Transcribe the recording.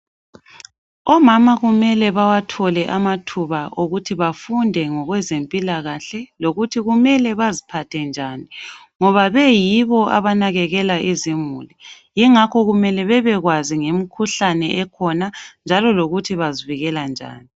Omama kumele bawathole amathuba okuthi bafunde ngokwezempilakahle lokuthi kumele baziphathe njani ngoba beyibo abanakekela izimuli yingakho kumele bebekwazi ngemkhuhlane ekhona njalo lokuthi bazivikela njani